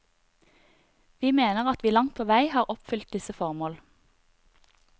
Vi mener at vi langt på vei har oppfylt disse formål.